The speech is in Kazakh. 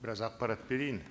біраз ақпарат берейін